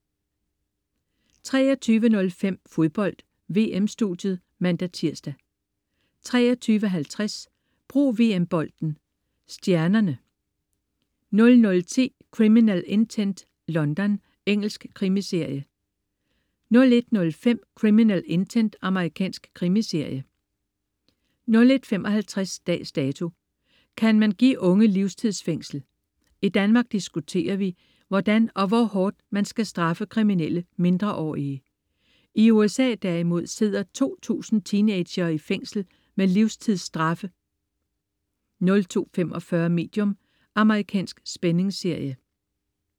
23.05 Fodbold: VM-studiet (man-tirs) 23.50 Brug VM-bolden: Stjernerne 00.10 Criminal Intent: London. Engelsk krimiserie 01.05 Criminal Intent. Amerikansk krimiserie 01.55 Dags Dato: Kan man give unge livstidsfængsel? I Danmark diskuterer vi, hvordan og hvor hårdt man skal straffe kriminelle mindreårige. I USA derimod sidder 2000 teenagere i fængsel med livstidsstraffe 02.45 Medium. Amerikansk spændingsserie